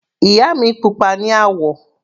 Ìyá mi pupa ní àwọ̀.